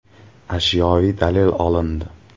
Ashyoviy dalil olindi.